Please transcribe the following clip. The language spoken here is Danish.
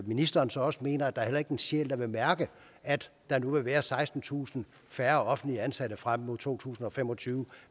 ministeren så også mener at der heller ikke er en sjæl der vil mærke at der nu vil være sekstentusind færre offentligt ansatte frem mod to tusind og fem og tyve